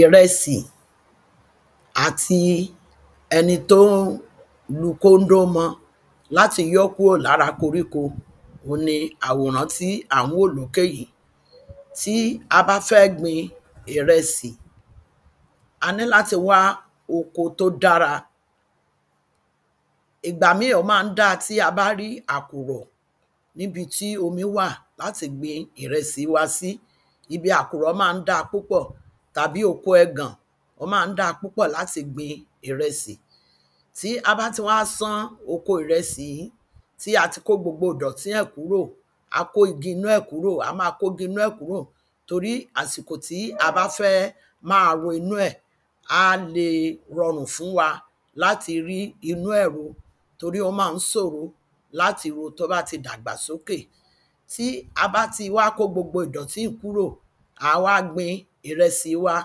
Ìrẹsì àti ẹni tó ń lu kóǹdó mọ́ láti yọ́ kúrò lára koríko ohun ni àwòrán tí à ń wò lókè yìí. Tí a bá fẹ́ gbin ìrẹsì a ní láti wá oko tó dára ìgbá míì ó má ń dá ti a bá rí àkùrọ̀ níbi tí omi wà láti gbin ìrẹsì wa sí. Ibi àkùrọ̀ má ń dá púpọ̀ tàbí oko ẹ̀gàn ó má ń dá púpọ̀ láti gbin ìrẹsì. Tí a bá ti wá sán oko ìrẹsì yìí tí a ti kó gbogbo ìdọ̀tí ẹ̀ kúrò a kó igi inú ẹ̀ kúrò torí àsìkò tí a bá fẹ́ má wonú ẹ̀ á le rọrùn fún wa láti inú ẹ̀ ro torí ó má ń sòro láti ro tó bá ti dàgbà sókè. Tí a bá ti wá kó gbogbo ìdọ̀tí yìí kúrò à á wá gbin ìrẹsì wa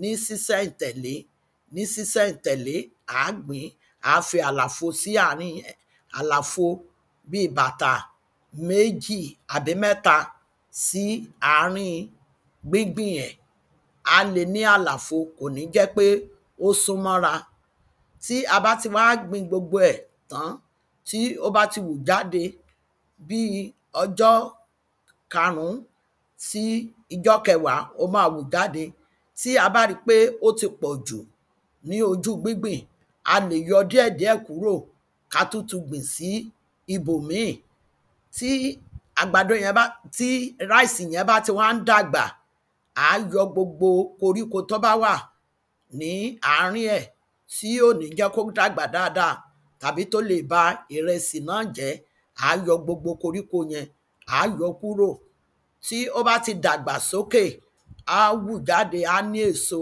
ní sísẹ̀ n tẹ̀lé ní sísẹ̀ n tẹ̀lé à á gbìn à á fi àlàfo sí àárín ẹ̀ àlàfo bí bàtà méjì àbí mẹ́ta sí àárín gbíngbìn ẹ̀ á le ní àlàfo kò ní jẹ́ pé ó súnmọ́ ra Tí a bá ti wá gbin gbogbo ẹ̀ tán tí ó bá ti hù jáde bí ọjọ́ karùn sí ijọ́ kewàá ó má hù jáde tí a bá rí pé ó ti pọjù ní ojú gbíngbìn a lè yọ díẹ̀ díẹ̀ kúrò ká tún tún gbìn sí ibòmíì Tí àgbàdo yẹn tí rice yẹn tí wá ń dàgbà à á yọ gbogbo koríko tó bá wà ní àárín ẹ̀ tí kò ní jẹ́ kó dàgbà dáada àbí tó le ba ìrẹsì náà jẹ́ à á yọ gbogbo koríko kúrò tí ó bá ti dàgbà sókè á hù jáde á ní èso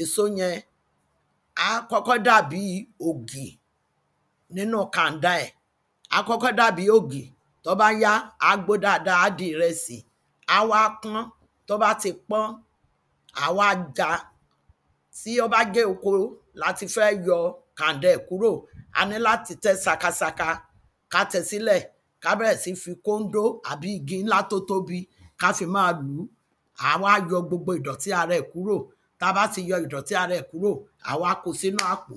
èso yẹn à á kọ́kọ́ dàbí òkè nínú kànda ẹ̀ à á kọ́kọ́ dàbí ògì tó bá yá á gbó dáada á di ìrẹsì á wá pọ́n tó bá wá pọ́n à á wá já tí ó bá jẹ́ oko la ti fẹ́ yọ kànda ẹ̀ kúrò a ní láti tẹ́ sakasaka ká tẹ́ sílẹ̀ ká bẹ̀rẹ̀ sí ní fi kóńdò tàbí igi ńlá tó tóbi ká fi má lùú à á wá yọ gbogbo ìdọ̀tí ara ẹ̀ kúrò tá bá ti yọ ìdọ̀tí ara ẹ̀ kúrò à á wá kó sínú àpò.